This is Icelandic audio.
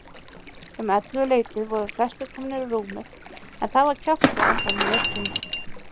Um ellefuleytið voru flestir komnir í rúmið en það var kjaftað áfram í myrkrinu.